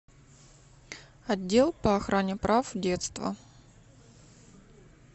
отдел по охране прав детства